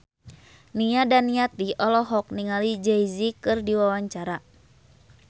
Nia Daniati olohok ningali Jay Z keur diwawancara